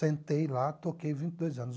Sentei lá, toquei vinte e dois anos.